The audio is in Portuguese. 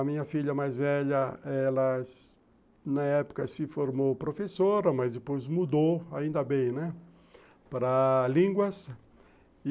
A minha filha mais velha, ela, na época, se formou professora, mas depois mudou, ainda bem, né, para línguas.